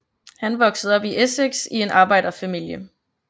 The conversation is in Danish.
Han voksede op i Essex i en arbejderfamilie